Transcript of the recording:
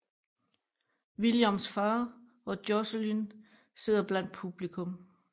Williams far og Jocelyn sidder blandt publikum